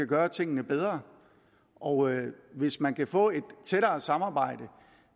gøre tingene bedre og hvis man kan få et tættere samarbejde